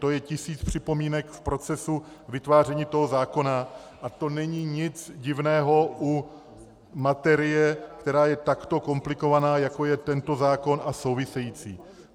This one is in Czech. To je tisíc připomínek v procesu vytváření toho zákona a to není nic divného u materie, která je takto komplikovaná, jako je tento zákon a související.